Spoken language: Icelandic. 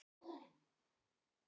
Það gekk vel hjá mér.